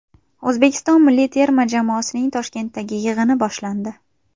O‘zbekiston milliy terma jamoasining Toshkentdagi yig‘ini boshlandi.